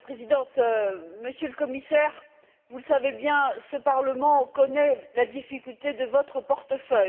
Madame la Présidente, Monsieur le Commissaire, vous le savez bien, ce Parlement connaît la difficulté de votre portefeuille.